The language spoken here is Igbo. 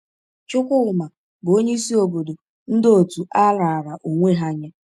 Chukwuma bụ onye isi obodo ndị otu a raara onwe ha nye.